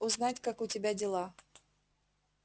ну узнать как у тебя дела